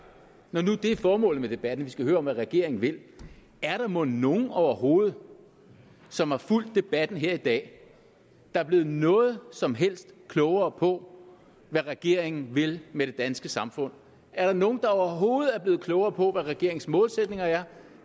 når nu det er formålet med debatten at vi skal høre om hvad regeringen vil er der mon så nogen overhovedet som har fulgt debatten her i dag der er blevet noget som helst klogere på hvad regeringen vil med det danske samfund er der nogen overhovedet er blevet klogere på hvad regeringens målsætninger er